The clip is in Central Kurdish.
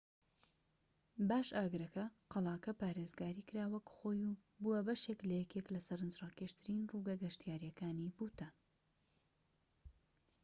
باش ئاگرەکە قەڵاکە پارێزگاری کرا وەکو خۆی و بووە بەشێك لە یەکێك لە سەرنجڕاکێشترین ڕووگە گەشتیاریەکانی بوتان